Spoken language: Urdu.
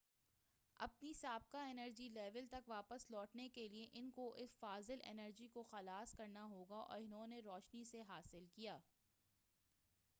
اپنی سابقہ انرجی لیول تک واپس لوٹنے کے لئے ان کو اس فاضل انرجی کو خلاص کرنا ہوگا انہوں نے روشنی سے حا صل کیا